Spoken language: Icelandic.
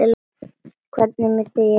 Hvernig mundi hún taka mér?